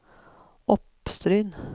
Oppstryn